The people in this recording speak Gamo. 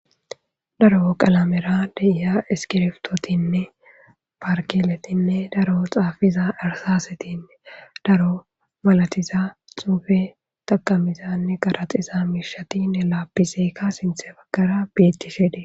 daro qalamera deiya iskiriftotinne parkeletinne daro xaafiza arsasetinne daro malatiza xuufe taqamizanne garaxiza miishatine laappiseeka sinthe baggara bettishede